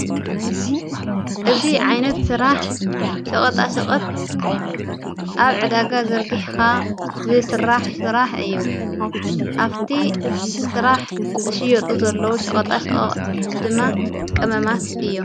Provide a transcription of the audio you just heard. እዝ ዓይነት ሥራሕ ሸቐጣ ሰቕት ኣብ ዕዳጋ ዘርጊሕኻ ዘሥራሕ ሥራሕ እዩ ኣፍቲ ሥራሕ ዝሽየጡ ዘለዉ ሸቐጣ ሸቐቕ ድማ ቀመማት እዮም።